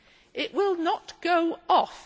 It will not go off.